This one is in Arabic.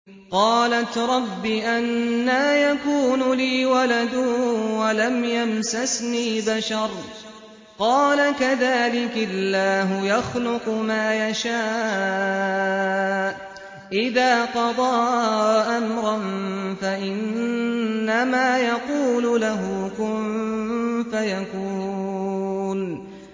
قَالَتْ رَبِّ أَنَّىٰ يَكُونُ لِي وَلَدٌ وَلَمْ يَمْسَسْنِي بَشَرٌ ۖ قَالَ كَذَٰلِكِ اللَّهُ يَخْلُقُ مَا يَشَاءُ ۚ إِذَا قَضَىٰ أَمْرًا فَإِنَّمَا يَقُولُ لَهُ كُن فَيَكُونُ